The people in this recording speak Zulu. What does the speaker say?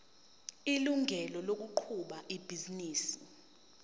ilungelo lokuqhuba ibhizinisi